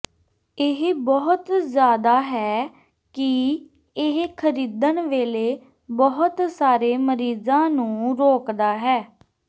ਇਹ ਬਹੁਤ ਜ਼ਿਆਦਾ ਹੈ ਕਿ ਇਹ ਖਰੀਦਣ ਵੇਲੇ ਬਹੁਤ ਸਾਰੇ ਮਰੀਜ਼ਾਂ ਨੂੰ ਰੋਕਦਾ ਹੈ